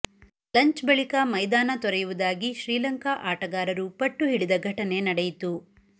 lunch ಬಳಿಕ ಮೈದಾನ ತೊರೆಯುವುದಾಗಿ ಶ್ರೀಲಂಕಾ ಆಟಗಾರರು ಪಟ್ಟು ಹಿಡಿದ ಘಟನೆ ನಡೆಯಿತು